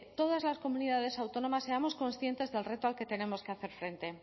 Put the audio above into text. todas las comunidades autónomas seamos conscientes del reto al que tenemos que hacer frente